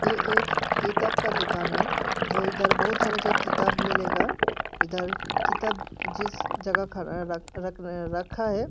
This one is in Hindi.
ये एक किताब का दुकान है जो इधर बहुत सारा के किताब मिलेगा इधर किताब जिस जगह खड़ा रख रख रखा है --